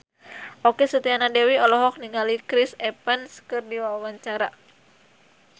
Okky Setiana Dewi olohok ningali Chris Evans keur diwawancara